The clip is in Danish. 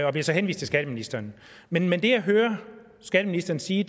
og blev så henvist til skatteministeren men men det jeg hører skatteministeren sige